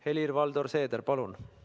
Helir-Valdor Seeder, palun!